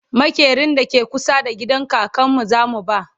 maƙerin da ke kusa da gidan kakanmu zamu ba